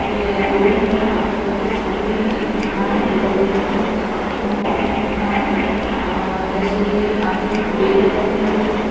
ये रोड है और रोड के साइड में एक मकान है कबील का मकान है और जैसे ये आगे में पेड़ लगे हुए हैं।